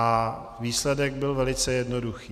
A výsledek byl velice jednoduchý.